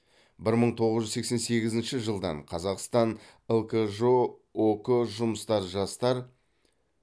бір мың тоғыз жүз сексен сегізінші жылдан қазақстан лкжо ок жұмысшы жастар